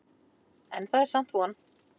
En það er samt von.